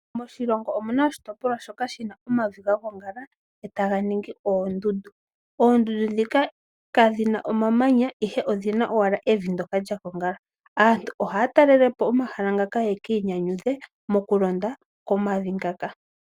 Moshilongo omu na oshitopolwa shoka shi na omavi ga gongala, etaga ningi oondundu. Oondundu kadhi na omamanya, ihe odhi na ashike omavi ngaka haga kala ga gongala. Aantu ohaya talele po omahala ngaka yeki inyanyudhe moku londa komavi ngaka.